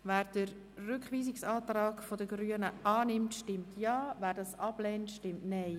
Wer den Rückweisungsantrag Grüne annimmt, stimmt Ja, wer diesen ablehnt, stimmt Nein.